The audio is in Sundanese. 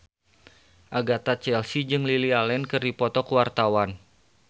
Agatha Chelsea jeung Lily Allen keur dipoto ku wartawan